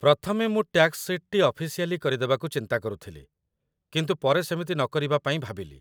ପ୍ରଥମେ ମୁଁ ଟ୍ୟାକ୍ସ ସିଟ୍‌ଟି ଅଫିସିଆଲି କରିଦେବାକୁ ଚିନ୍ତା କରୁଥିଲି, କିନ୍ତୁ ପରେ ସେମିତି ନକରିବା ପାଇଁ ଭାବିଲି